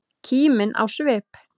Kímin á svip.